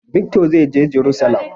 Vikto zai je jarusalam.